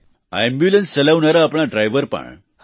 આ એમ્બ્યુલન્સ ચલાવનારા આપણા ડ્રાઈવર પણ